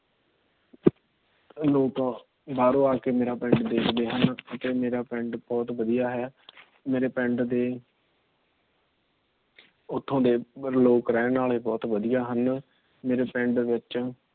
ਲੋਕ ਬਾਹਰੋਂ ਆਕੇ ਮੇਰਾ ਪਿੰਡ ਦੇਖਦੇ ਹਨ। ਅਤੇ ਮੇਰਾ ਪਿੰਡ ਬਹੁਤ ਵਧੀਆ ਹੈ। ਮੇਰੇ ਪਿੰਡ ਦੇ ਉੱਥੋਂ ਰਹਿਣ ਵਾਲੇ ਲੋਕ ਬਹੁਤ ਵਧੀਆ ਹਨ। ਮੇਰੇ ਪਿੰਡ ਵਿੱਚ